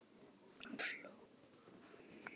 Hann hló og Týri flaðraði upp um hann.